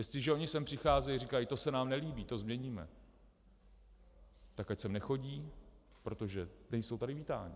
Jestliže oni sem přicházejí a říkají "to se nám nelíbí, to změníme", tak ať sem nechodí, protože nejsou tady vítáni.